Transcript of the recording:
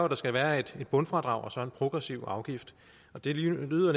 der skal være et bundfradrag og så en progressiv afgift det lyder